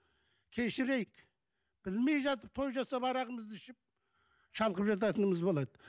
кешірейік білмей жатып той жасап арағымызды ішіп шалқып жататынымыз болады